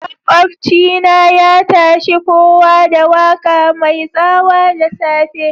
Makobci na ya tashe kowa da waka mai tsawa dasafe.